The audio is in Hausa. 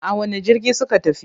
A wane jirgi suka tafi?